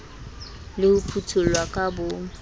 le ho phuthollwa ka bo